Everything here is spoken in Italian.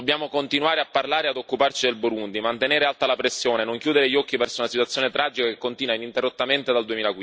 Dobbiamo continuare a parlare e ad occuparci del Burundi, mantenere alta la pressione, non chiudere gli occhi davanti a una situazione tragica che continua ininterrottamente dal